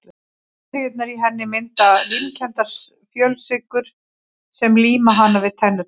Bakteríurnar í henni mynda límkenndar fjölsykrur sem líma hana við tennurnar.